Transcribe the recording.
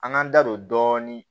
An k'an da don dɔɔnin